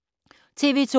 TV 2